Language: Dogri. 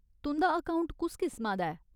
तुं'दा अकौंट कुस किस्मा दा ऐ ?